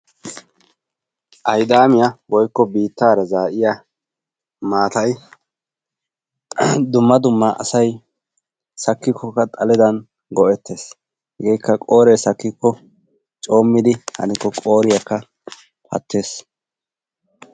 Aydaamiya woykko biittaara zaa"iya maatayi dumma dumma asayi sakkikko xaledan go"ettes hegeekka qooree sakkikko coommidi hanikko qooriyakka pattes.